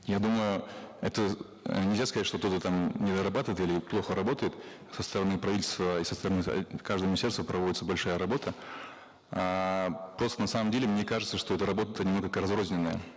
я думаю это э нельзя сказать что кто то там недорабатывает или плохо работает со стороны правительства и со стороны каждого министерства проводится большая работа эээ просто на самом деле мне кажется что эта работа немного разрозненная